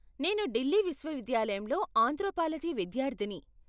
నేను ఢిల్లీ విశ్వవిద్యాలయంలో ఆంత్రోపాలజీ విద్యార్ధిని.